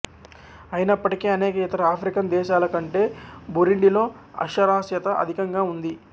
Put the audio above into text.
అయినప్పటికీ అనేక ఇతర ఆఫ్రికన్ దేశాల కంటే బురుండిలో అక్షరాశ్యత అధికంగా ఉంది